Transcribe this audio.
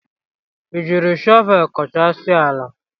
Ị jiri shọvelu koochasia ala?